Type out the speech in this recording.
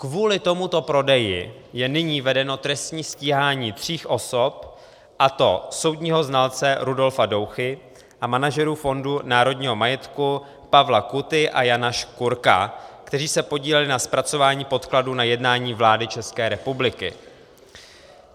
Kvůli tomuto prodeji je nyní vedeno trestní stíhání tří osob, a to soudního znalce Rudolfa Douchy a manažerů Fondu národního majetku Pavla Kuty a Jana Škurka, kteří se podíleli na zpracování podkladů na jednání vlády České republiky.